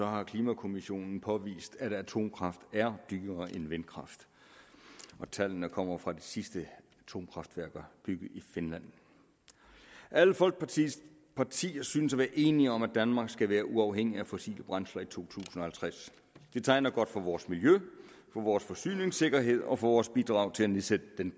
har klimakommissionen påvist at atomkraft er dyrere end vindkraft tallene kommer fra de sidste atomkraftværker bygget i finland alle folketingets partier synes at være enige om at danmark skal være uafhængig af fossile brændsler i to tusind og halvtreds det tegner godt for vores miljø for vores forsyningssikkerhed og for vores bidrag til at nedsætte den